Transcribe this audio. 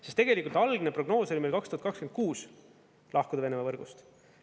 Sest tegelikult algne prognoos oli meil 2026 lahkuda Venemaa võrgust.